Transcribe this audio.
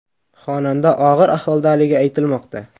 Xonanda og‘ir ahvoldaligi aytilmoqda.